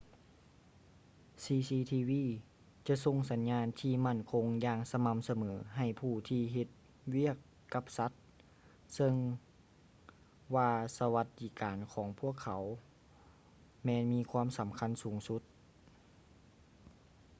cctv ຈະສົ່ງສັນຍານທີ່ໝັ້ນຄົງຢ່າງສະໝ່ຳສະເໝີໃຫ້ຜູ້ທີ່ເຮັດວຽກກັບສັດ ເຊິ່ງວ່າສະຫວັດດີການຂອງພວກເຂົາແມ່ນມີຄວາມສຳຄັນສູງສຸດ